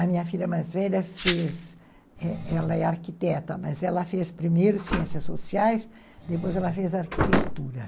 A minha filha mais velha fez, ela é arquiteta, mas ela fez primeiro ciências sociais, depois ela fez arquitetura.